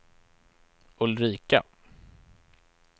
Ulrika